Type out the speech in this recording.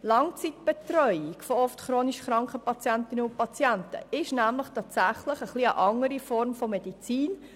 Die Langzeitbetreuung von oft chronisch kranken Patientinnen und Patienten ist nämlich tatsächlich eine andere Form von Medizin.